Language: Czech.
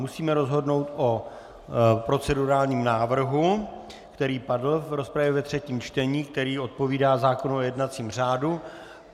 Musíme rozhodnout o procedurálním návrhu, který padl v rozpravě ve třetím čtení, který odpovídá zákonu o jednacím řádu.